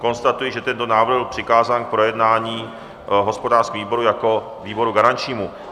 Konstatuji, že tento návrh byl přikázán k projednání hospodářskému výboru jako výboru garančnímu.